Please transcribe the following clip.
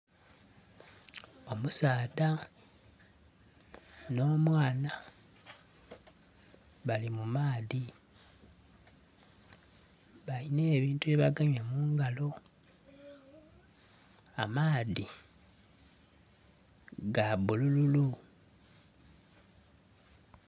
Omusaadha nho mwaana bali mu maadhi balina ebintu bye bagemye mu ngalo, amaadhi ga bululu.